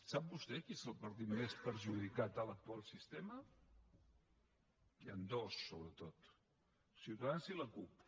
sap vostè quin és el partit més perjudicat en l’actual sistema n’hi han dos sobretot ciutadans i la cup